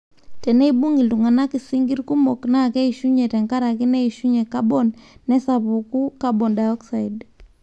teneibung iltungana sinkir kumok naa keishunye tenkare neishunye carbon nesapuku carbon dioxide